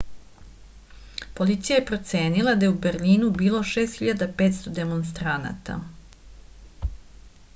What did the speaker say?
policija je procenila da je u berlinu bilo 6500 demonstranata